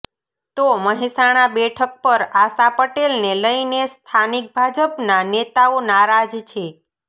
તો મહેસાણા બેઠક પર આશા પટેલને લઇને સ્થાનિક ભાજપના નેતાઓ નારાજ છે